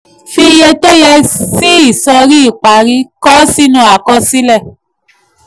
fi iye tó yẹ sí ìsọ̀rí ìparí kọ ó sínú àkọsílẹ̀.